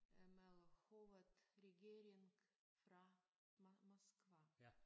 Øh med hovedregering fra Moskva